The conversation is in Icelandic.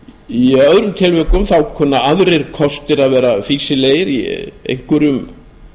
í öðrum tilvikum kunna aðrir kostir að vera fýsilegir í einhverjum